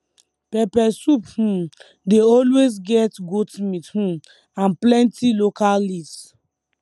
pepper soup um dey always get goat meat um and plenty local leaves